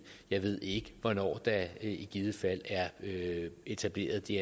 jeg ved ikke hvornår der i givet fald er etableret det